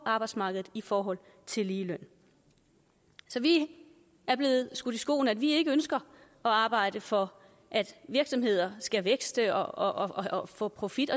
arbejdsmarkedet i forhold til ligeløn vi er blevet skudt i skoene at vi ikke ønsker at arbejde for at virksomheder skal vækste og og få profit